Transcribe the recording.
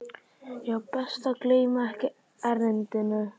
Já, best að gleyma ekki erindinu.